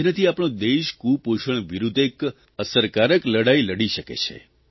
જેનાથી આપણો દેશ કુપોષણ વિરૂદ્ધ એક અસરકારક લડાઇ લડી શકે છે